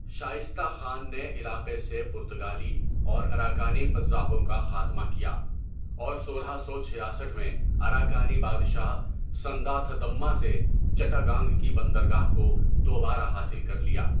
شائستہ خان نے علاقے سے پرتگالی اور اراکانی قزاقوں کا خاتمہ کیا، اور سولہ سو چھیاسٹھ میں اراکانی بادشاہ سَندا تھدھمّا سے چٹاگانگ کی بندرگاہ کو دوبارہ حاصل کر لیا۔